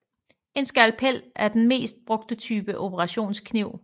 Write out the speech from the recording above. En skalpel er den mest brugte type operationskniv